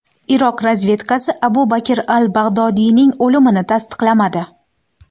Iroq razvedkasi Abu Bakr al-Bag‘dodiyning o‘limini tasdiqlamadi.